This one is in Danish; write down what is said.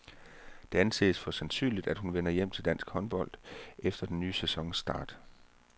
Det anses for sandsynligt, at hun vender hjem til dansk håndbold fra den nye sæsons start.